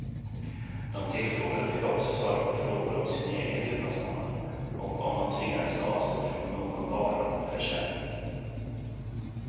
De tillfrågade fick också svara på frågor om sin egen levnadsstandard och om de tvingades avstå från någon vara eller tjänst.